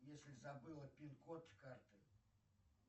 если забыла пин код карты